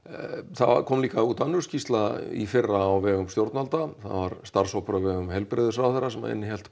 það kom líka út önnur skýrsla í fyrra á vegum stjórnvalda það var starfshópur á vegum heilbrigðisráðherra sem innihélt